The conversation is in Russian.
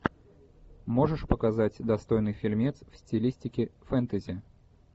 можешь показать достойный фильмец в стилистике фэнтези